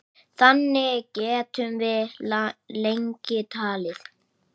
Þannig gætum við lengi talið.